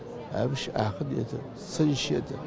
әбіш ақын еді сыншы еді